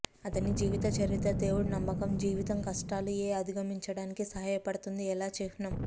అతని జీవితచరిత్ర దేవుడు నమ్మకం జీవితం కష్టాలు ఏ అధిగమించడానికి సహాయపడుతుంది ఎలా చిహ్నం